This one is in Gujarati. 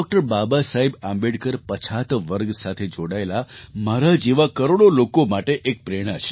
બાબાસાહેબ આંબેડકર પછાત વર્ગ સાથે જોડાયેલા મારા જેવા કરોડો લોકો માટે એક પ્રેરણા છે